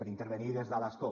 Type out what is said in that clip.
per intervenir des de l’escó